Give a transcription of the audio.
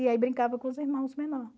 E aí brincava com os irmãos menor